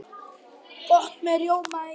Gott með rjóma eða ís.